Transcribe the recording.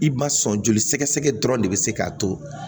I ma sɔn joli sɛgɛ dɔrɔn de bɛ se k'a to